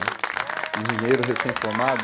Né? Esses engenheiros recém-formados.